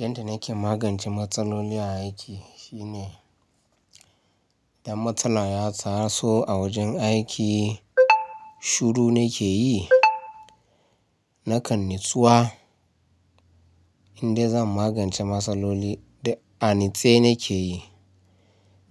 Yanda nake magance matsaloli a aiki shi ne idan matsala ya taso a wajen aiki shuru nake yi. Nakan natsuwa in dai zan magance matsaloli duk a natsai nake yi.